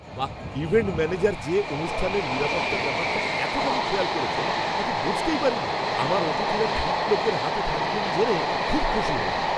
বাহ্, event manager যে অনুষ্ঠানের নিরাপত্তার ব্যাপারটা এতখানি খেয়াল করেছেন তা তো বুঝতেই পারিনি! আমার অতিথিরা ঠিক লোকের হাতে থাকবেন জেনে খুব খুশি হলাম।